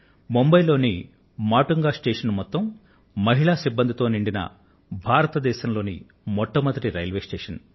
ముంబయ్ లోని మాటుంగా స్టేషన్ భారతదేశంలో అందరూ మహిళా సిబ్బందితోనే నిండినటువంటి మొట్టమొదటి రైల్వే స్టేషన్